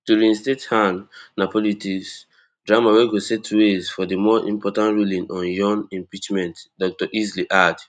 to reinstate han na politics drama wey go set ways for di more important ruling on yoon impeachment dr easley add